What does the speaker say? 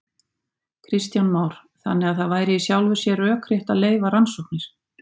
Kristján Már: Þannig að það væri í sjálfu sér rökrétt að leyfa rannsóknir?